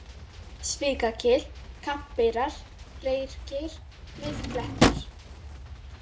Svikagil, Kambeyrar, Reyrgeir, Miðklettar